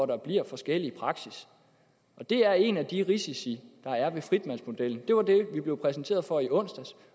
der bliver forskellig praksis det er en af de risici der er ved fritvalgsmodellen det var det vi blev præsenteret for i onsdags